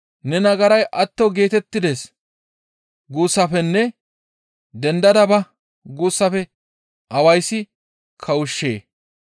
‹Ne nagaray atto geetettides› guussafenne ‹Dendada ba!› guussafe awayssi kawushshee?